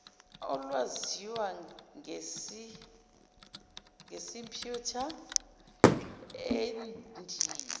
olwaziwa ngesimputer endiya